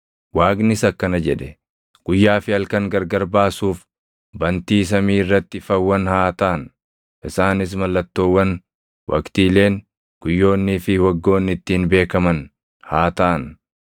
Waaqnis akkana jedhe; “Guyyaa fi halkan gargar baasuuf bantii samii irratti ifawwan haa taʼan; isaanis mallattoowwan waqtiileen, guyyoonnii fi waggoonni ittiin beekaman haa taʼan;